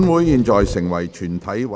現在成為全體委員會。